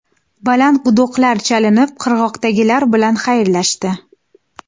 Baland gudoklar chalinib qirg‘oqdagilar bilan xayrlashdi.